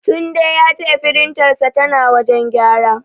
Tunde ya ce firintarsa tana wajen gyara.